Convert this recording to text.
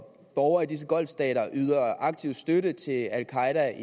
borgere i disse golfstater der yder aktiv støtte til al qaeda